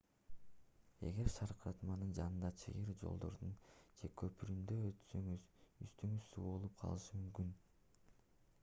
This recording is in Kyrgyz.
эгер шаркыратманын жанындагы чыйыр жолдордон же көпүрөдөн өтсөңүз үстүңүз суу болуп калышы мүмкүн